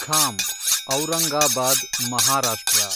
Kham Aurangabad Maharashtra